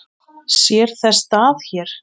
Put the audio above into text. Sér þess stað hér?